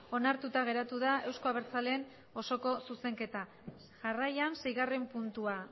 onartuta geratu da euzko abertzaleen osoko zuzenketa jarraian seigarren puntua